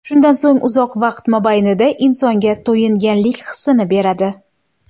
Shundan so‘ng uzoq vaqt mobaynida insonga to‘yinganlik hisini beradi.